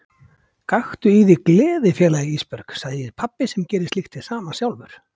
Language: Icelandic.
Gakktu í þig gleði félagi Ísbjörg, segir pabbi sem gerir slíkt hið sama sjálfur.